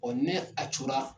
Ɔɔ nɛ a cora